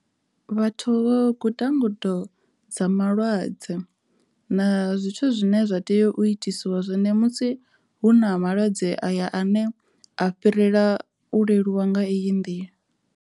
Vhathu vho guda ngudo dza malwadze na zwithu zwine zwa tea u itisiwa zwone musi hu na malwadze aya ane a fhirela u leluwa nga eyi nḓila.